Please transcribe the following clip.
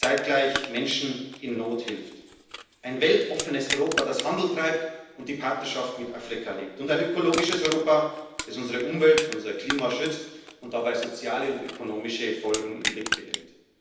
zeitgleich Menschen in Not hilft, ein weltoffenes Europa, das Handel treibt und die Partnerschaft mit Afrika lebt, und ein ökologisches Europa, das unsere Umwelt, unser Klima schützt und dabei soziale und ökonomische Folgen im Blick behält.